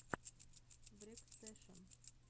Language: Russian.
врекстэшен